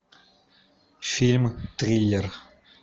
фильм триллер